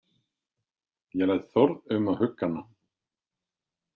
Ég læt Þórð um að hugga hana.